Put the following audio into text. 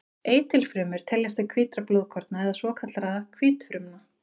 Eitilfrumur teljast til hvítra blóðkorna eða svokallaðra hvítfrumna.